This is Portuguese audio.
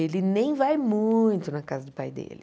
Ele nem vai muito na casa do pai dele.